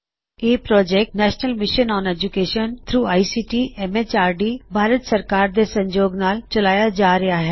ਇਹ project National Mission on Education through ICT MHRD Bharat ਸਰਕਾਰ ਦੇ ਸਹਿਯੋਗ ਨਾਲ ਚਲਾਇਆ ਜਾ ਰਿਹਾ ਹੈ